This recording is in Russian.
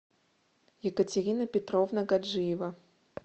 екатерина петровна гаджиева